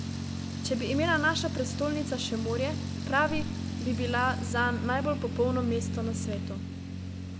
Če bi imela naša prestolnica še morje, pravi, bi bila zanj najbolj popolno mesto na svetu.